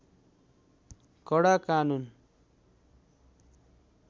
कडा कानून